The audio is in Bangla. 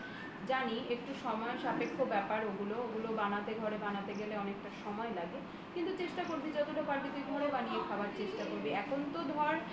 জানি একটু সময় সাপেক্ষ ব্যাপার ওগুলো ওগুলো ঘরে বানাতে গেলে অনেকটা সময় লাগে ঘরে বানিয়ে খাওয়ার চেষ্টা করবি এখন তো ধর